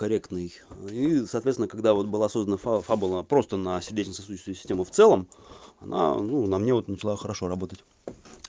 корректный и соответственно когда вот была создана фабула проста на сердечно-сосудистую систему в целом она ну на мне начала хорошо работать